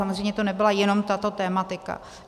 Samozřejmě to nebyla jenom tato tematika.